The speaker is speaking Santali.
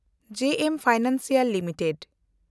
ᱡᱮ ᱮᱢ ᱯᱷᱟᱭᱱᱟᱱᱥᱤᱭᱟᱞ